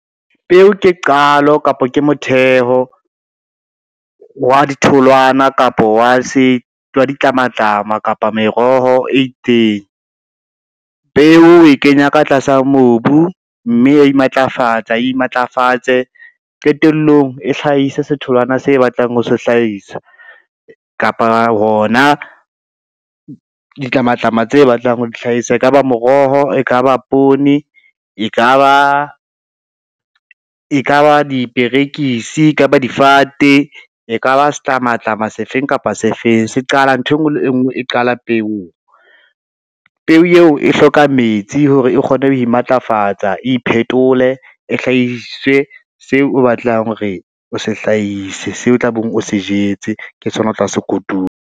Peo ke qalo kapa ke motheho, wa ditholwana kapa wa ditlamatlama kapa meroho e itseng. Peo e kenywa ka tlasa mobu, mme ya imatlafatsa e imatlafatse, qetellong e hlahise se tholwana se batlang ho se hlahisa kapa hona ditlamatlama tse batlang ho di hlahisa. E ka ba meroho, e ka ba poone, e ka ba diperekisi, kapa difate, e ka ba setlamatlama sefeng kapa sefeng, nthwe ngwe le e ngwe e qala peong. Peo eo e hloka metsi hore e kgone ho imatlafatsa, iphetole e hlahise seo o batlang hore o se hlahise, seo tlabeng o se jetse ke sona o tla sekotula.